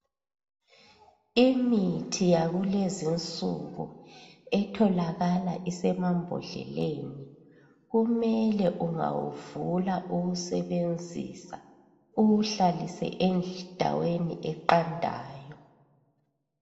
Imithi yakulezi insuku etholakala isemambodleleni kumele ungawuvula uwusebenzisa uwuhlalise endaweni eqandayo.